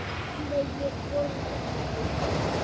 Nei, ég borða þetta ekki.